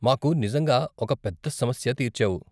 మాకు నిజంగా ఒక పెద్ద సమస్య తీర్చావు.